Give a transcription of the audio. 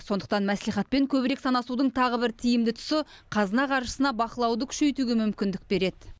сондықтан мәслихатпен көбірек санасудың тағы бір тиімді тұсы қазына қаржысына бақылауды күшейтуге мүмкіндік береді